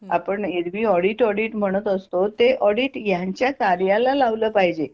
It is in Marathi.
आपण एरवी ऑडीट ऑडीट म्हणत असतो ते ऑडीट यांच्या कार्याला लावला पाहिजे